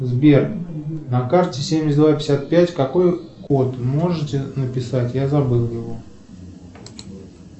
сбер на карте семьдесят два пятьдесят пять какой код можете написать я забыл его